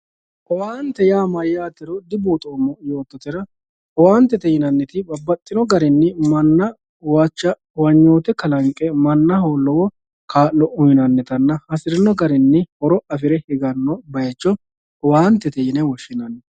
owaantete yaa mayyaatero dibuuxoommo yoottotera owaantete yinanniti babbaxxitino garinni manna huwacha huwanyoote kalanqe mannaho lowo kaa'lo uyiinannitanna hasirino garinni horo afire higanno bayiicho owaantete yine woshshinanni.